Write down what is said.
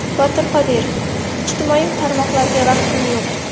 Botir Qodirov: Ijtimoiy tarmoqlarga vaqtim yo‘q.